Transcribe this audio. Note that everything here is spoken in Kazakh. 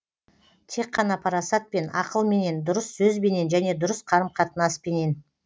тек қана парасатпен ақылменен дұрыс сөзбенен және дұрыс қарым қатынаспенен